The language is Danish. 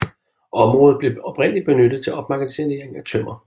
Området blev oprindeligt benyttet til opmagasinering af tømmer